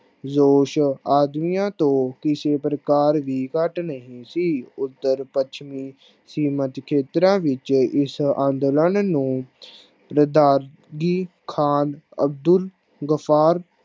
ਜੋਸ਼ ਆਦਮੀਆਂ ਤੋਂ ਕਿਸੇ ਪ੍ਰਕਾਰ ਵੀਂ ਘੱਟ ਨਹੀਂ ਸੀ। ਉੱਤਰ ਪੱਛਮੀ ਅਸੀਮਤ ਖੇਤਰਾ ਵਿਚ ਇਸ ਅੰਦੋਲਨ ਨੂੰ ਬਗਦਾਦ ਦੀ ਖਾਨ ਅਬਦੁਲ ਬਸਾਰ